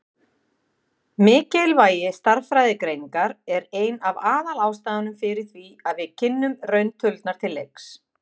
Mikilvægi stærðfræðigreiningar er ein af aðalástæðunum fyrir því að við kynnum rauntölurnar til leiks.